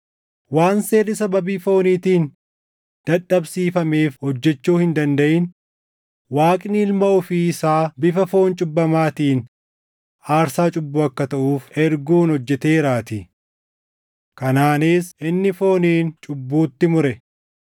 Waan seerri sababii fooniitiin dadhabsiifameef hojjechuu hin dandaʼin, Waaqni Ilma ofii isaa bifa foon cubbamaatiin aarsaa cubbuu akka taʼuuf erguun hojjeteeraatii. Kanaanis inni fooniin cubbuutti mure.